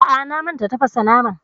A'a, na manta tafasa naman